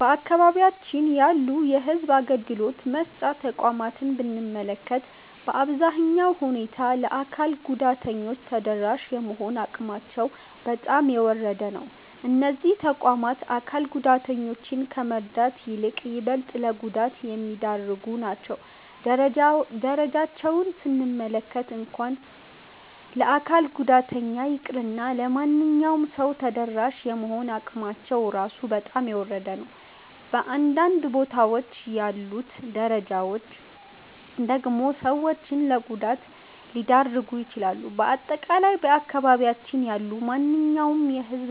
በአካባቢያችን ያሉ የሕዝብ አገልግሎት መስጫ ተቋማትን ብንመለከት፣ በአሳዛኝ ሁኔታ ለአካል ጉዳተኞች ተደራሽ የመሆን አቅማቸው በጣም የወረደ ነው። እነዚህ ተቋማት አካል ጉዳተኞችን ከመርዳት ይልቅ ይበልጥ ለጉዳት የሚዳርጉ ናቸው። ደረጃቸውን ስንመለከት እንኳን ለአካል ጉዳተኛ ይቅርና ለማንኛውም ሰው ተደራሽ የመሆን አቅማቸው ራሱ በጣም የወረደ ነው። በአንዳንድ ቦታዎች ያሉት ደረጃዎች (Stairs) ደግሞ ሰዎችን ለጉዳት ሊዳርጉ ይችላሉ። በአጠቃላይ በአካባቢያችን ያሉ ማንኛውም የሕዝብ